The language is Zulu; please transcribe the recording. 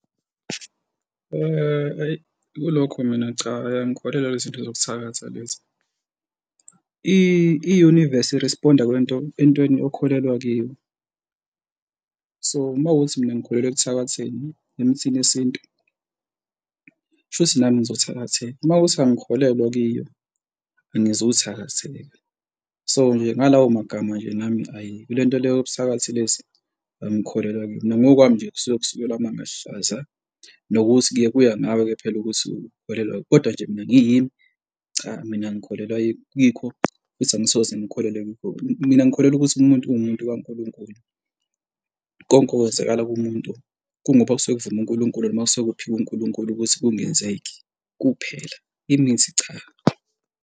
Hhayi, kulokho mina cha, ay, angikholelwa kwizinto zokuthakatha lezi. I-universe i-respond-a kwinto, entweni okholelwa kiyo. So, mawukuthi mina ngikholelwa ekuthakatheni emithini yesintu, shuthi nami ngizothakatheka, uma kuwukuthi angikholelwa kiyo, angizuthakatheka. So nje ngalawo magama nje nami, ayi, kule nto leyo yobuthakathi lezi angikholelwa kuyo, mina ongokwami nje kusuke kusukelwa amanga alihlaza, nokuthi-ke kuya ngawe-ke phela ukuthi ukholelwa, kodwa nje mina kuyimi, cha, mina ngikholelwa kwikho futhi angisoze ngakholelwa. Mina ngikholelwa ukuthi umuntu uwumuntu kaNkulunkulu, konke okwenzakala kumuntu kungoba kusuke kuvuma uNkulunkulu noma kusuke kuphekwe uNkulunkulu ukuthi kungenzeke kuphela. Imithi, cha.